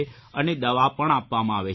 અને દવા પણ આપવામાં આવે છે